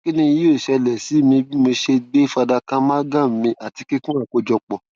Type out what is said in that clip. kini yoo ṣẹlẹ si mi bi mo ṣe gbe fadaka amalgam mì ati kikun akojọpọ